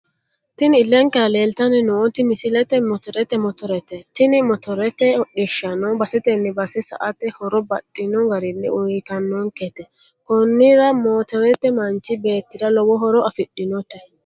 Tini illenkera leeltanni nooti misilete motorete motorete. Tini motorete hodhishshaho basetenni base sa"ate horo baxxino garinni uyiitannonkete. Konnira motorete manchi beettira lowo horo afidhinote.